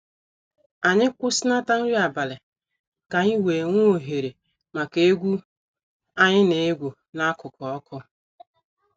Anyị kwusinata nri abalị ka anyị wee nwe oghere maka egwu anyị na egwu n'akụkụ ọkụ.6